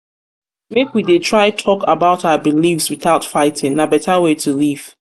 we dey try talk about our beliefs without fighting; na beta way to live.